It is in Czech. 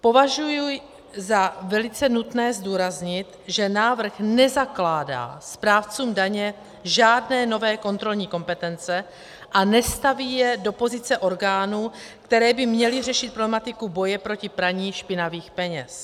Považuji za velice nutné zdůraznit, že návrh nezakládá správcům daně žádné nové kontrolní kompetence a nestaví je do pozice orgánů, které by měly řešit problematiku boje proti praní špinavých peněz.